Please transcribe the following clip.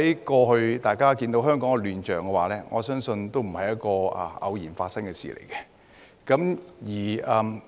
過去香港的亂象，我相信不是偶然發生的事。